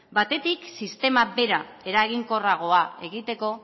batetik sistema bera eraginkorragoa egiteko